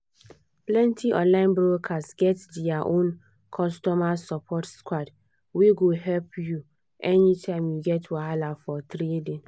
plenty online brokers get their own customer support squad wey go help you anytime you get wahala for trading